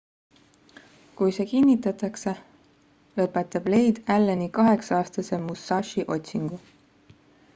kui see kinnitatakse lõpetab leid alleni kaheksa-aastase musashi otsingu